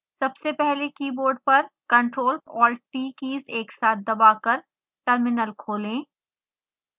सबसे पहले कीबोर्ड पर ctrl + alt + t कीज़ एक साथ दबाकर टर्मिनल खोलें